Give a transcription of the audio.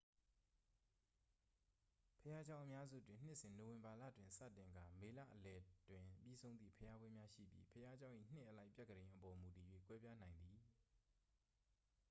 ဘုရားကျောင်း အများစုတွင် နှစ်စဉ် နိုဝင်ဘာလတွင် စတင်ကာ မေလအလယ်တွင် ပြီးဆုံးသည့် ဘုရားပွဲများ ရှိပြီး ဘုရားကျောင်း၏ နှစ်အလိုက် ပြက္ခဒိန်အပေါ် မူတည်၍ ကွဲပြားနိုင်သည်